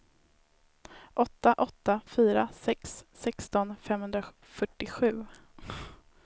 åtta åtta fyra sex sexton femhundrafyrtiosju